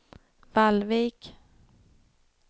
Vallvik